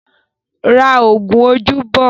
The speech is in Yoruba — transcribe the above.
Ra oògùn ojú bọ̀ ó!